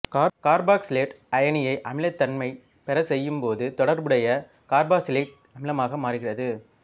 carboxylate அயனியை அமிலத்தன்மை பெறச் செய்யும் போது தொடர்புடைய கார்பாக்சிலிக் அமிலமாக மாறுகிறது